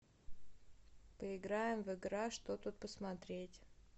поиграем в игра что тут посмотреть